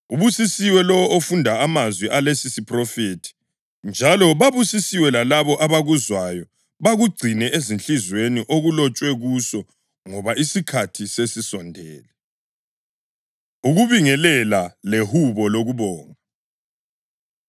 Ubusisiwe lowo ofunda amazwi alesisiphrofethi njalo babusisiwe lalabo abakuzwayo bakugcine ezinhliziyweni okulotshwe kuso ngoba isikhathi sesisondele. Ukubingelela Lehubo Lokubonga